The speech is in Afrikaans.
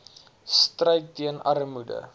stryd teen armoede